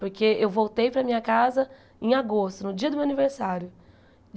Porque eu voltei para a minha casa em agosto, no dia do meu aniversário.